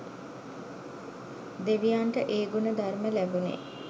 දෙවියන්ට ඒ ගුණ ධර්ම ලැබුණේ